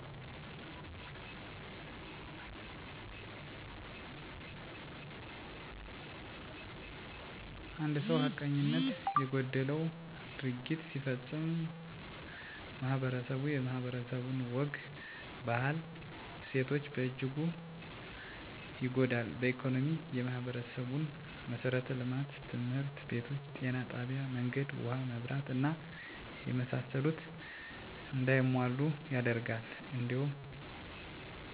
አንድ ሰው ሀቀኝነት የጎደለው ድርጊት ሲፈፀም ማህበረስቡ የማህበረሰቡ ወግ ባህል እሴቶች በእጅጉ ይጎዳል በኢኮኖሚ የማህበረሰቡን መሠረተ ልማቶች( ትምህርት ቤቶች ጤና ጣቢያ መንገድ ውሀ መብራት እና የመሳሰሉት) እንዳይሟሉ ያደርጋል እንዲሁም የገቢ ምንጭ የቀንሳል የኑሮ ውድነት ያባብሳል በማህበራዊ ሁኔታዎች በማህበረሰቡ ያሉ ሰንበቴ እድር እቁብ የመሳሰሉት ይጠፋሉ ህዝብ ለህዝም መስተጋብሩ ይጎዳል ግንዛቤ በመፍጠር በትምህርት ቤት በማህበራዊ ድህረገፅ ሀይማኖታዊ ግብረገብነት በማስፋት በመተባበርና በመተጋገዝ እንዲሁም ጥፍት ላጠፉት ተገቢዉን እርምጃና ቅጣት ሲወሰድባቸው